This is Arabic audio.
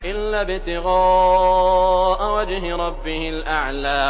إِلَّا ابْتِغَاءَ وَجْهِ رَبِّهِ الْأَعْلَىٰ